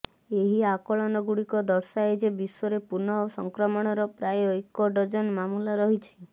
ଏହି ଆକଳନଗୁଡିକ ଦର୍ଶାଏ ଯେ ବିଶ୍ୱରେ ପୁନଃ ସଂକ୍ରମଣର ପ୍ରାୟ ଏକ ଡଜନ ମାମଲା ରହିଛି